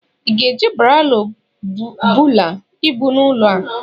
ị ga-eji Baro bulaa ibu a n'ụlọ?